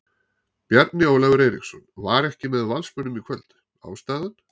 Bjarni Ólafur Eiríksson var ekki með Valsmönnum í kvöld, ástæðan?